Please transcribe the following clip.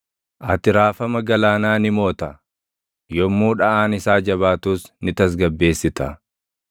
Ati raafama galaanaa ni moota; yommuu dhaʼaan isaa jabaatus ni tasgabbeessita.